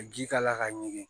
Ka ji k'a la ka ɲigin